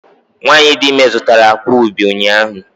Nwanyị dị ime zụtara akwa ubi ụnyahụ